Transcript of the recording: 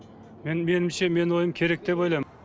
меніңше менің ойым керек деп ойлаймын